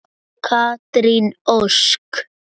Katrín Ósk.